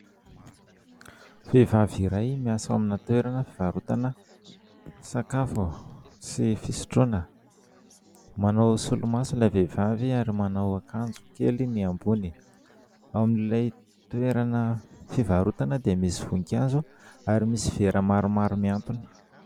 Vehivavy iray miasa ao amina toerana fivarotana sakafo sy fisotroana; manao solomaso ilay vehivavy ary manao akanjo kely ny ambony. Ao amin'ilay toerana fivarotana dia misy voninkazo ary misy vera maromaro miantona.